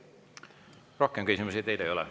Rohkem küsimusi teile ei ole.